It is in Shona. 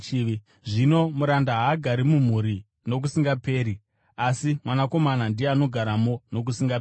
Zvino muranda haagari mumhuri nokusingaperi, asi mwanakomana ndiye anogaramo nokusingaperi.